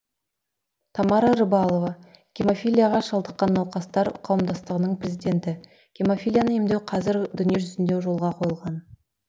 тамара рыбалова гемофилияға шалдыққан науқастар қауымдастығының президенті гемофилияны емдеу қазір дүниежүзінде жолға қойылған